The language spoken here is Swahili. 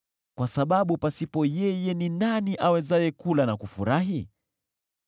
kwa sababu pasipo yeye, ni nani awezaye kula na kufurahi?